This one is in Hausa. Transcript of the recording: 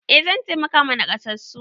Eh zan taimaka ma nakasassu.